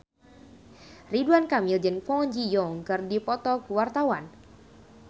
Ridwan Kamil jeung Kwon Ji Yong keur dipoto ku wartawan